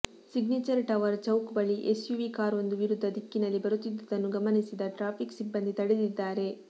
signature tower chowk ಬಳಿ SUV ಕಾರೊಂದು ವಿರುದ್ಧ ದಿಕ್ಕಿನಲ್ಲಿ ಬರುತ್ತಿದ್ದದನ್ನು ಗಮನಿಸಿದ ಟ್ರಾಫಿಕ್ ಸಿಬ್ಬಂದಿ ತಡೆದಿದ್ದಾರೆ